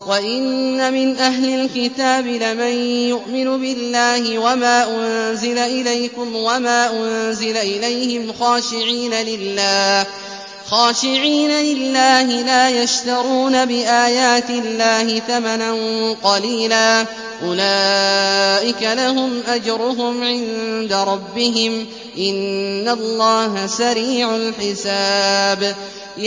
وَإِنَّ مِنْ أَهْلِ الْكِتَابِ لَمَن يُؤْمِنُ بِاللَّهِ وَمَا أُنزِلَ إِلَيْكُمْ وَمَا أُنزِلَ إِلَيْهِمْ خَاشِعِينَ لِلَّهِ لَا يَشْتَرُونَ بِآيَاتِ اللَّهِ ثَمَنًا قَلِيلًا ۗ أُولَٰئِكَ لَهُمْ أَجْرُهُمْ عِندَ رَبِّهِمْ ۗ إِنَّ اللَّهَ سَرِيعُ الْحِسَابِ